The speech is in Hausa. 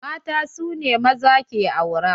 Mata su ne maza ke aura.